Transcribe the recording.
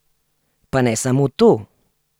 Pa ne samo to!